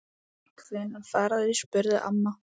Hvenær fara þau? spurði amma.